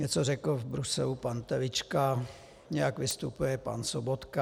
Něco řekl v Bruselu pan Telička, nějak vystupuje pan Sobotka.